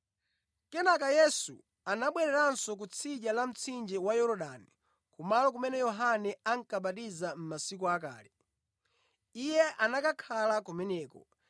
Kenaka Yesu anabwereranso kutsidya la mtsinje wa Yorodani kumalo kumene Yohane ankabatiza mʼmasiku akale. Iye anakhala kumeneko